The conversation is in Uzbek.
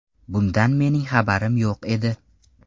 Bundan mening xabarim yo‘q edi.